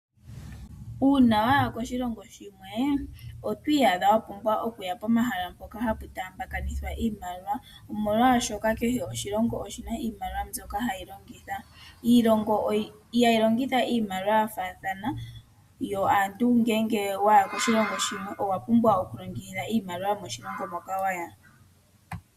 Uuna waya koshilongo shimwe oto iyadha wa pumbwa okuya pomahala hoka haku taamba kanithwa oshimaliwa, omolwaashoka kehe oshilongo oshina iimaliwa mbyoka hashi longitha. Iilongo ihayi longitha iimaliwa ya faathana yo aantu ngele waya koshilongo shimwe owa pumbwa oku longitha iimaliwa yomoshilongo moka waya.